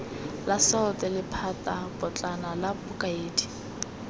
la salt lephatapotlana la bokaedi